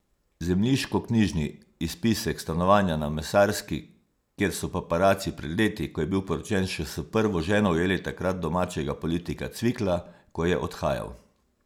Zemljiškoknjižni izpisek stanovanja na Mesarski, kjer so paparaci pred leti, ko je bil poročen še s prvo ženo, ujeli takrat domačega politika Cvikla, ko je odhajal.